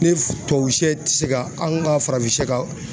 Ni tubabu sɛ te se ka an ka farafin sɛ ka